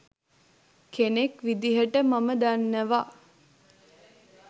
කෙනෙක් විදිහට මම දන්නවා